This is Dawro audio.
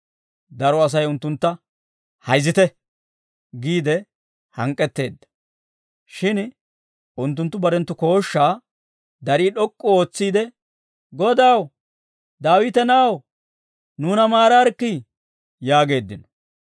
Daro Asay unttuntta, «Hayzzite» giide hank'k'etteedda; shin unttunttu barenttu kooshshaa darii d'ok'k'u ootsiide, «Godaw, Daawita na'aw, nuuna maaraarikkii!» yaageeddino.